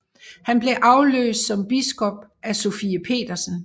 Han blev afløst som biskop af Sofie Petersen